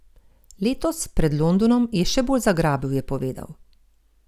Letos, pred Londonom, je še bolj zagrabil, je povedal.